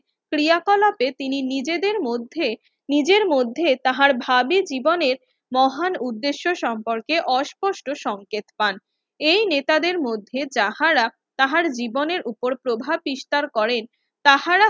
ক্রিয়া তিনি নিজেদের মধ্যে নিজের মধ্যে তাহার ভাবির জীবনের মহান উদ্দ্যেশ্য সম্পর্কে অস্পষ্ট সংকেত পান এই নেতাদের মধ্যে যাহারা তাঁহার জীবনের উপর প্রভাব বিস্তার করেন তাঁহারা